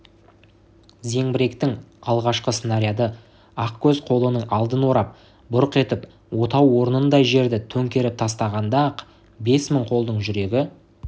зеңбіректің алғашқы снаряды ақкөз қолының алдын орап бұрқ етіп отау орнындай жерді төңкеріп тастағанда-ақ бес мың қолдың жүрегі